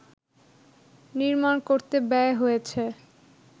নির্মাণ করতে ব্যয় হয়েছে